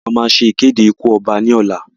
A máa ṣe ìkéde ikú ọba ní ọ̀la.